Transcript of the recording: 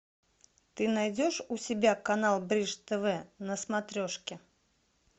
ты найдешь у себя канал бридж тв на смотрешке